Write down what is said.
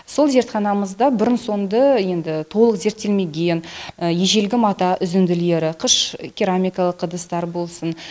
сол зертханамызда бұрын соңды енді толық зерттелмеген ежелгі мата үзінділері қыш керамикалық ыдыстар болсын